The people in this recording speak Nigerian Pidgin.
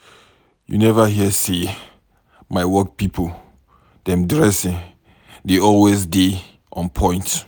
You neva hear sey my work pipo dem dressing dey always dey on-point.